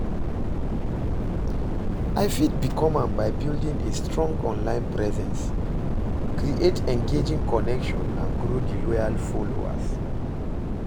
I fit become am by building a strong online presence, create engaging connection and grow di loyal followers.